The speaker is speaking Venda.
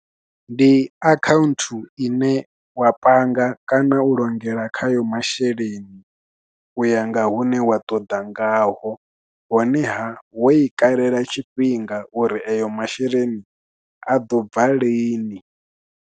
Ndi account ine wa panga kana u longela khayo masheleni, u ya nga hune wa ṱoḓa ngaho, honeha wo i kalela tshifhinga uri ayo masheleni a ḓo bva lini.